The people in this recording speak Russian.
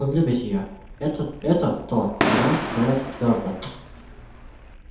он любит её это это то она знает твёрдо